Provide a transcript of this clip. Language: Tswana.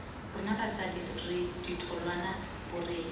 rona basadi re ditholwana borethe